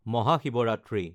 Mahashivratri